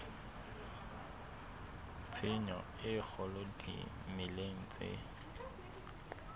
tshenyo e kgolo dimeleng tse